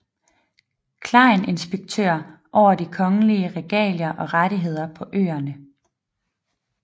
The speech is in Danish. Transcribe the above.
Klein inspektør over de kongelige regalier og rettigheder på øerne